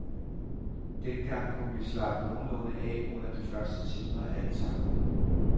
Dengang kunne vi slappe nogenlunde af under de første timer af etaperne.